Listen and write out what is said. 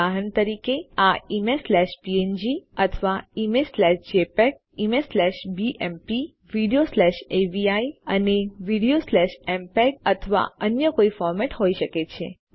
ઉદાહરણ તરીકે આ ઇમેજ સ્લેશ પીએનજી અથવા image slash JPEG image slash BMP video slash AVI અને વીડિયો સ્લેશ એમપીઇજી અથવા અન્ય કોઈ ફોર્મેટ હોય શકે છે